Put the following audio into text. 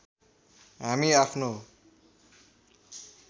हामी आफ्नो